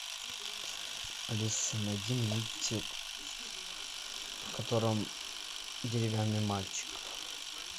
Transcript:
алиса найди мультик в котором деревянный мальчик